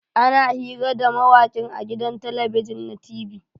Ana hira da mawakin a gidan talabijin na t.v